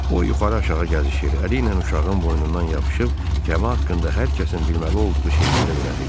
O yuxarı-aşağı gəzişir, əliylə uşağın boynundan yapışıb gəmi haqqında hər kəsin bilməli olduğu şeyləri öyrədirdi.